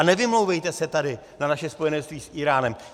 A nevymlouvejte se tady na naše spojenectví s Íránem.